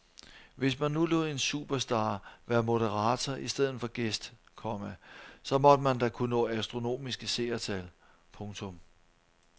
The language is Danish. Hvis man nu lod en superstar være moderator i stedet for gæst, komma så måtte man da kunne nå astronomiske seertal. punktum